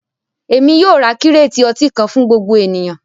Ẹ̀mi yóò rá kírèètì ọ̀tí kan fún gbogbo ènìyàn